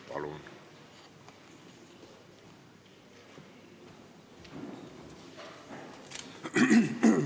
Palun!